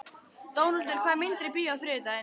Dónaldur, hvaða myndir eru í bíó á þriðjudaginn?